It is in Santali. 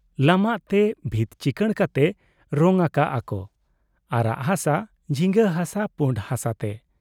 ᱞᱟᱢᱟᱜ ᱛᱮ ᱵᱷᱤᱛ ᱪᱤᱠᱟᱹᱬ ᱠᱟᱛᱮ ᱨᱚᱝ ᱟᱠᱟᱜ ᱟ ᱠᱚ ᱟᱨᱟᱜ ᱦᱟᱥᱟ, ᱡᱷᱤᱸᱜᱟᱹ ᱦᱟᱥᱟ, ᱯᱩᱸᱰ ᱦᱟᱥᱟᱛᱮ ᱾